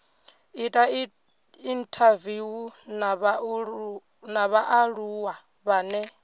ita inthaviwu na vhaaluwa vhane